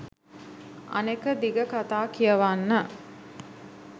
අනෙක දිග කතා කියවන්න